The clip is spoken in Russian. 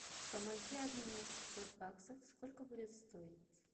помоги обменять пятьсот баксов сколько будет стоить